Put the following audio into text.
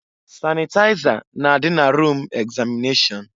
Sanịtaịza na-adị na rum egzamịnashọn.